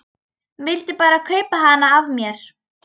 Vildi bara kaupa hana af mér!